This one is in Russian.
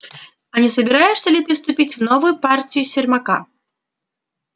а не собираешься ли ты вступить в новую партию сермака